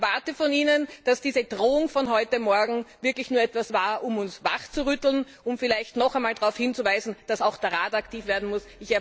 Ich erwarte von Ihnen, dass diese Drohung von heute Morgen wirklich nur etwas war, um uns wachzurütteln und noch einmal darauf hinzuweisen, dass auch der Rat aktiv werden muss.